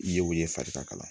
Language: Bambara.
I yew ye farikala